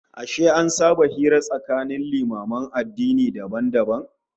Ashe an saba hira tsakanin limaman addinai dabam dabam?